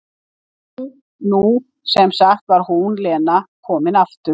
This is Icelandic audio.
En nú, nú sem sagt var hún, Lena, loksins komin aftur.